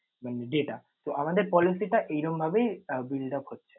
মানে data তো আমাদের policy টা এরকমভাবেই আহ build up হচ্ছে।